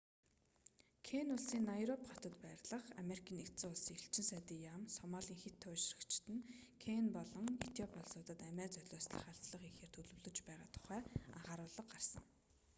кени улсын найроби хотод байрлах америкийн нэгдсэн улсын элчин сайдын яам сомалийн хэт туйлшрагчид нь кени болон этиоп улсуудад амиа золиослох халдлага хийхээр төлөвлөж байгаа тухай анхааруулга гаргасан